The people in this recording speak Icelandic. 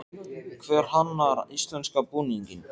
Hver hannar íslenska búninginn?